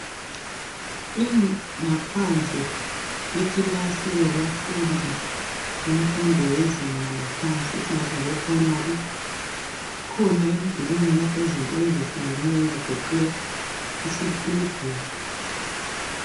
ingaphandle yekilasi yabafundi yezinga laphansi esingathi ngabe primary kukhona emdulini lapha izinto ezehlukeneyo ezigoqela isitubhu